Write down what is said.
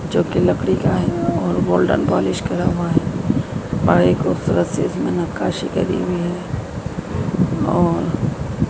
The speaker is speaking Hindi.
चौकी लकड़ी का है और गोल्डन पॉलिश करा हुआ है और एक खूबसूरत सी नक्काशी करी हुई है और--